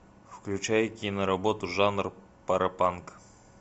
включай киноработу жанр паропанк